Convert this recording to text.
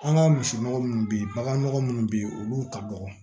An ka misi nɔgɔ munnu be ye bagan nɔgɔ munnu be ye olu ka dɔgɔ